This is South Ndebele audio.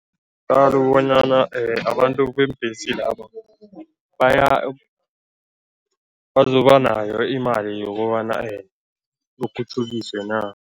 Bonyana abantu beembhesi laba bazobanayo imali yokobana kukhutjhukiwe na.